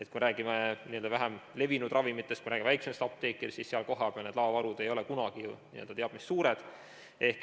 Kui me räägime vähem levinud ravimitest, väiksematest apteekidest, siis seal kohapeal laovarud ei ole kunagi ju teab mis suured.